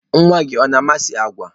Nwa gị ọ na-amasị agwa?